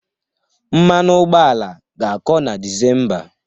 Mmanụ ụgbọala ga-akọ na Disemba.